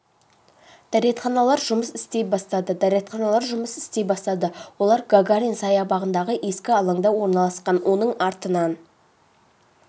дәретханалар жұмыс істей бастады дәретханалар жұмыс істей бастады олар гагарин саябағындағы ескі алаңда орналасқан оның артынан